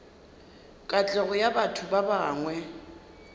katlego ya batho ba bangwe